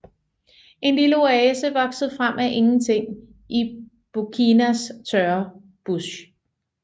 En lille oase vokset frem af ingenting i Burkinas tørre bush